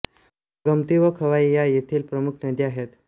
गोमती व खोवाई या येथील प्रमुख नद्या आहेत